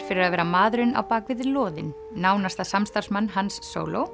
fyrir að vera maðurinn á loðin nánasta samstarfsmann Hans